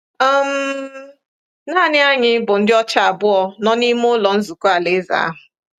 um Nanị anyị bụ ndị ọcha abụọ nọ n’ime Ụlọ Nzukọ Alaeze ahụ.